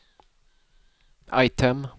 item